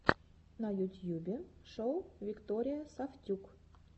на ютьюбе шоу виктория сафтюк